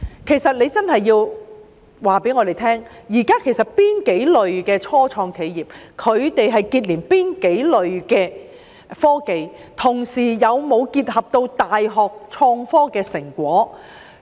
其實，局方真的要告訴我們，現在有哪幾類的初創企業是結連哪幾類的科技，同時有否結合大學創科的成果。